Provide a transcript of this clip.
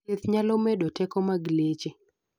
thieth nyalo medo teko mag leche